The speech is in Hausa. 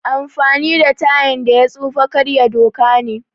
Amfani da tayan da ya tsufa karya doka ne